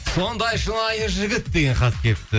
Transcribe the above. сондай шынайы жігіт деген хат келіпті